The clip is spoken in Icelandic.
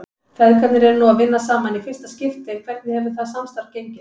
Feðgarnir eru nú að vinna saman í fyrsta skipti en hvernig hefur það samstarf gengið?